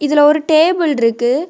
இதுல ஒரு டேபிள் இருக்கு.